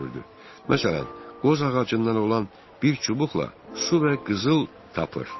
Məsələn, qoz ağacından olan bir çubuqla su və qızıl tapır.